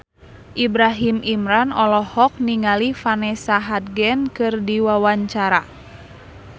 Ibrahim Imran olohok ningali Vanessa Hudgens keur diwawancara